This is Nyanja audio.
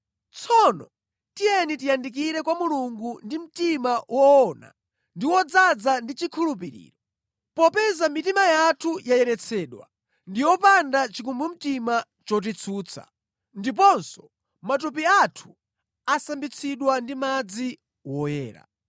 Tsono tiyeni tiyandikire kwa Mulungu ndi mtima woona ndi wodzaza ndi chikhulupiriro. Popeza mitima yathu yayeretsedwa, ndi yopanda chikumbumtima chotitsutsa, ndiponso matupi athu asambitsidwa ndi madzi woyera.